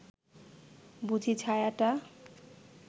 বুঝি ছায়াটা